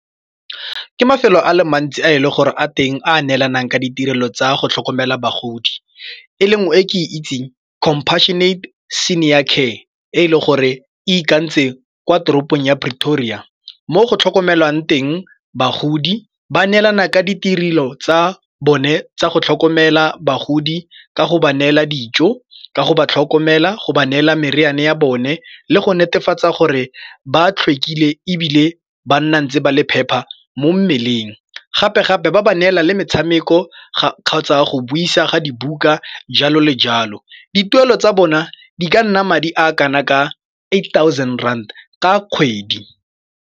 Ke mafelo a le mantsi a e le gore a teng a neelanang ka ditirelo tsa go tlhokomela bagodi. E le nngwe e ke e itseng Compassionate Senior Care e e le gore e itakantse kwa toropong ya Pretoria mo go tlhokomelwang teng bagodi ba neelana ka ditirelo tsa bone tsa go tlhokomela bagodi, ka go ba neela dijo, ka go ba tlhokomela, go ba neela meriane ya bone le go netefatsa gore ba tlhwekile ebile ba nna ntse ba le phepa mo mmeleng. Gape-gape ba ba neela le metshameko kgotsa go buisa ga dibuka, jalo le jalo. Dituelo tsa bona di ka nna madi a kana ka eight thousand rand ka kgwedi.